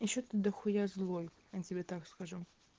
ещё ты дахуя злой я тебе так скажу